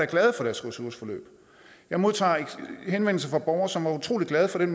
glade for deres ressourceforløb jeg modtager henvendelser fra borgere som er utrolig glade for den